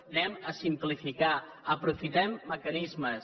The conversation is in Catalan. anem a simplificar aprofitem mecanismes